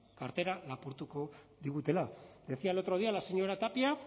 kartera lapurtuko digutela decía el otro día la señora tapia